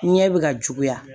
Ɲɛ bɛ ka juguya